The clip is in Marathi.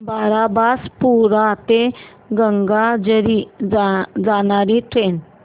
बारबासपुरा ते गंगाझरी जाणारी ट्रेन